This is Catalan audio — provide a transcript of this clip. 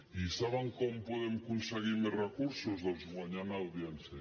i saben com podem aconseguir més recursos doncs guanyant audiència